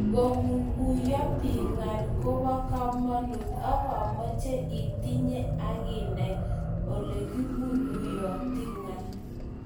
Ngoguiguiyo biik ngaal koba kamanuut agomeche itinyei akinai oleguiguiyoti ngal